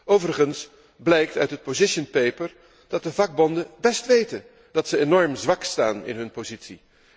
Overigens blijkt uit het position paper dat de vakbonden best weten dat ze enorm zwak staan in hun positie.